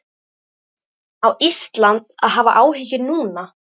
Á Ísland að hafa áhyggjur núna?